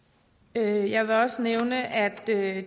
jeg jeg vil også nævne at